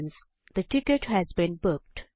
the ticket has been booked